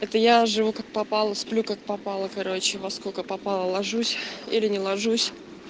это я живу как попало сплю как попало короче во сколько попало ложусь или не ложусь